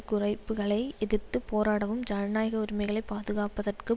குறைப்புக்களை எதிர்த்து போராடவும் ஜனநாயக உரிமைகளை பாதுகாப்பதற்கு